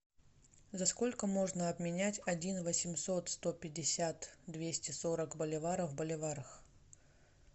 за сколько можно обменять один восемьсот сто пятьдесят двести сорок боливаров в боливарах